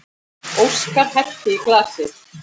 Óskar hellti í glasið.